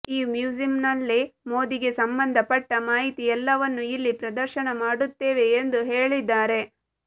ಈ ಮ್ಯೂಸಿಯಂನಲ್ಲಿ ಮೋದಿಗೆ ಸಂಬಂಧ ಪಟ್ಟ ಮಾಹಿತಿ ಎಲ್ಲವನ್ನು ಇಲ್ಲಿ ಪ್ರದರ್ಶನ ಮಾಡುತ್ತೇವೆ ಎಂದು ಹೇಳಿದ್ದಾರೆ